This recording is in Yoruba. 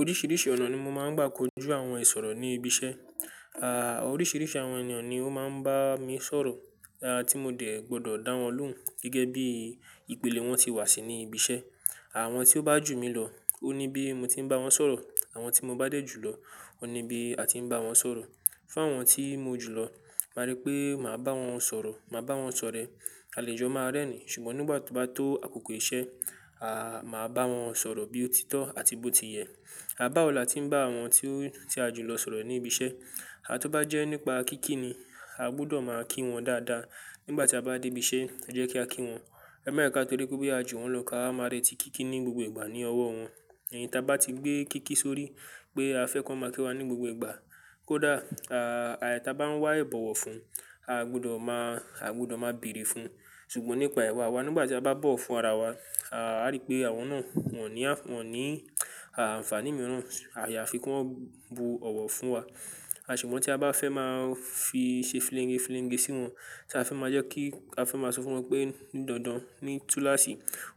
Oríṣìíríṣìí ọ̀nà ni mo máa ń gbà kojú àwọn ìṣòro ní ibi iṣẹ́. À, oríṣìíríṣìí àwọn ènìyàn ni ó máa ń bá mi sọ̀rọ̀, tí mo dẹ̀ gbọ́dọ̀ dá wọn lóhùn gẹ́gẹ́ bí ìpele wọn tí wá sí ní ibi iṣẹ́. Àwọn tí ó bá jù mí lọ ó ní bí mo ti ń bá wọn sọ̀rọ̀, àwọn tí mo bá dé jù lọ ó ní bí a ti ń bá wọn sọ̀rọ̀. Fún àwọn tí mo jù lọ́, máa rí pé màá bá wọn sọ̀rọ̀, màá bá wọn sọ̀rẹ́. Àlejò máa rẹ́ni ṣùgbọ́n nígbà tí ó bá tó àkókò iṣẹ́, à máá bá wọn sọ̀rọ̀ bí ó ti tọ́ àti bó ti yẹ. À bá wo la tí ń bá àwọn tí o ti a jù lọ́ sọ̀rọ̀ ní ibi iṣẹ́, á tó bá jẹ́ nípa kíkí ni, a gbọdọ̀ máa kí wọn dáadáa. Nígbà tí a bá dé ibi iṣẹ́, ẹ jẹ́ kí a kí wọn. Ẹ̀ ma jé ka torí pé boya a jù wọ́n lọ ká wa máa reti kíkí ní gbogbo ìgbà ní ọwọ́ wọn. Ẹ̀yin ta bá ti gbé kíkí sórí pé a fẹ́ kan máa kí wa ní gbogbo ìgbà, kó dà, à, àìí ta bá ń wá ìbọ̀wọ̀ fún, a gbọdọ̀ máa, a gbọdọ̀ máa bèrè fun. Ṣùgbọ́n nípa ìwà wa na, nígbà tí a bá bọ̀wọ̀ fún ara wa, á rí pé àwọn náà wọ́n ní á, wọ́n ní, à, àǹfààní mìíràn. Àyàfi kí wọ́n bu ọ̀wọ̀ fún wa. A ṣùgbọ́n tí a bá fẹ́ máa fi ṣe fílenge fílenge sí wọn, tí a fẹ́ máa jẹ́ ki ti a fẹ́ máa sọ fún wọn pé ní dandan, ní tú láṣì